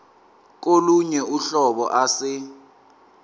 kolunye uhlobo ase